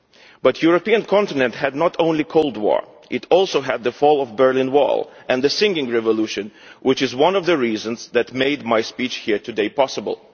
But the European continent had not only the Cold War it also had the fall of the Berlin Wall and the Singing Revolution, which was one of the reasons that made my speech here today possible.